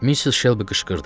Missis Şelbi qışqırdı.